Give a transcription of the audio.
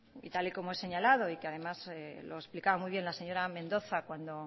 y tal y como ha señalado y que además lo explicaba muy bien la señora mendoza cuando